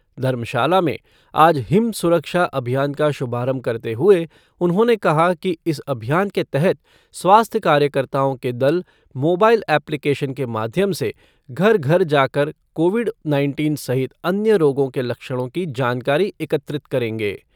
धर्मशाला में आज हिम सुरक्षा अभियान का शुभारंभ करते हुए उन्होंने कहा कि इस अभियान के तहत स्वास्थ्य कार्यकताओं के दल मोबाईल ऐप्लिकेशन के माध्यम से घर घर जाकर कोविड नाइनटीन सहित अन्य रोगों के लक्षणों की जानकारी एकत्रित करेंगे।